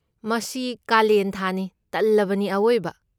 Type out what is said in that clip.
ꯃꯁꯤ ꯀꯥꯂꯦꯟ ꯊꯥꯅꯤ, ꯇꯜꯂꯕꯅꯤ ꯑꯋꯣꯏꯕ!